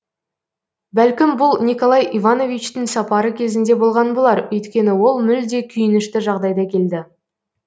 бәлкім бұл николай ивановичтің сапары кезінде болған болар өйткені ол мүлде күйінішті жағдайда келді